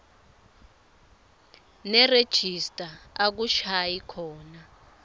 nerejista akushayi khona